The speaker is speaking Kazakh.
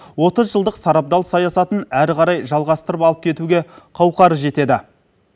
отыз жылдық сарабдал саясатын әрі қарай жалғастырып алып кетуге қауқары жетеді